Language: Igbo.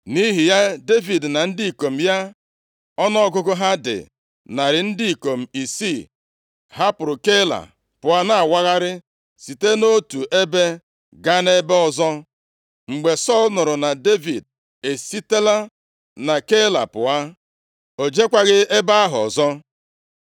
Nʼihi ya, Devid na ndị ikom ya ọnụọgụgụ ha dị narị ndị ikom isii, hapụrụ Keila pụọ na-awagharị site nʼotu ebe gaa nʼebe ọzọ. Mgbe Sọl nụrụ na Devid esitela na Keila pụọ, o jekwaghị ebe ahụ ọzọ.